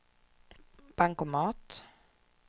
bankomat